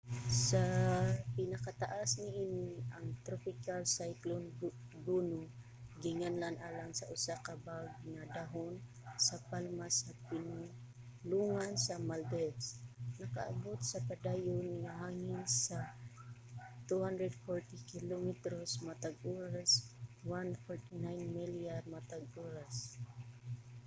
sa pinakataas niini ang tropical cyclone gonu ginganlan alang sa usa ka bag nga dahon sa palma sa pinulongan sa maldives nakaabot sa padayon nga hangin sa 240 kilometros matag oras 149 milya matag oras